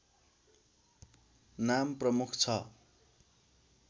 नाम प्रमुख छ